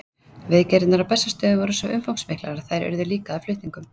Viðgerðirnar á Bessastöðum voru svo umfangsmiklar að þær urðu líka að flutningum.